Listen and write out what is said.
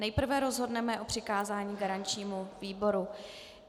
Nejprve rozhodneme o přikázání garančnímu výboru.